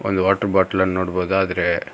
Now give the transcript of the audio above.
ಅಲ್ water bottle ಅನ್ ನೋಡ್ಬೋದು ಆದ್ರೆ--